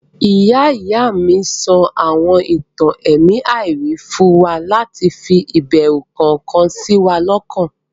Ìyá-ìy mi sọ àwọn ìtàn ẹ̀mí àìrí fún wa láti fi ìbẹrù kọ̀ọ̀kan sí wa lọ́kàn.